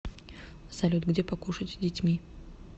салют где покушать с детьми